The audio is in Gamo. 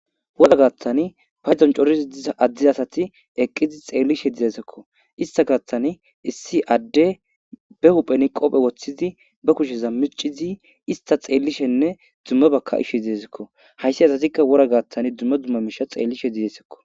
Wora gaattani paydon corizi diz addiz asati eqqizi xeellishe dizesekko ista gaatthani issi adde be huphen qopphe woththizi ba kushe zammicizi ista xeellishenne dumme baka ishe dizesekko hayssi asatikka wora gaattan dumme dumma misha xeellishe didesekko.